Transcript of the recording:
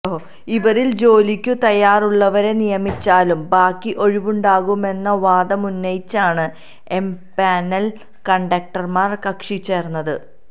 ഇവരിൽ ജോലിക്കു തയാറുള്ളവരെ നിയമിച്ചാലും ബാക്കി ഒഴിവുണ്ടാകുമെന്ന വാദമുന്നയിച്ചാണ് എംപാനൽ കണ്ടക്ടർമാർ കക്ഷിചേർന്നത്